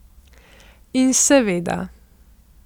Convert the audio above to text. In seveda.